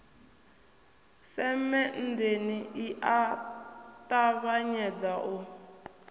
semenndeni i a ṱavhanyedza u